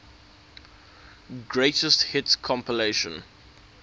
greatest hits compilation